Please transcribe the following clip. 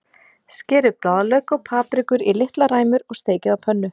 Skerið blaðlauk og paprikur í litlar ræmur og steikið á pönnu.